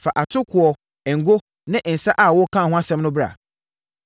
“Fa atokoɔ, ngo ne nsã a wokaa ho asɛm no bra.